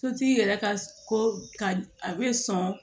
Sotigi yɛrɛ ka ko ka a be sɔn